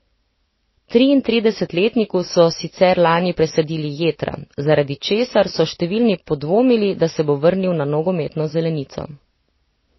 Triintridesetletniku so sicer lani presadili jetra, zaradi česar so številni podvomili, da se bo vrnil na nogometno zelenico.